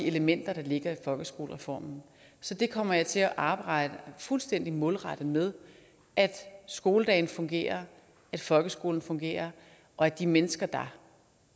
elementer der ligger i folkeskolereformen så det kommer jeg til at arbejde fuldstændig målrettet med at skoledagen fungerer at folkeskolen fungerer og at de mennesker der